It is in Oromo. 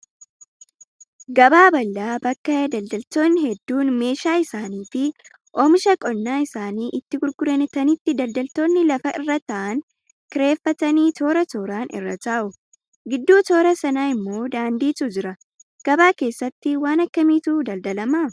Gabaa bal'aa bakka daldaltoonni hedduun meeshaa isaanii fi oomisha qonnaa isaanii itti gurguranitti daldaltoonni lafa irra taa'an kireeffatanii toora tooraan irra taa'u. Gidduu toora sanaa immoo daandiitu jira. Gabaa keessatti waan akkamiitu daldalamaa?